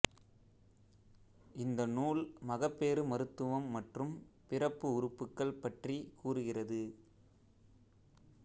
இந்த நூல் மகப்பேறு மருத்துவம் மற்றும் பிறப்பு உறுப்புக்கள் பற்றிக் கூறுகிறது